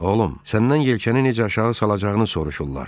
Oğlum, səndən yelkəni necə aşağı salacağını soruşurlar, dedi.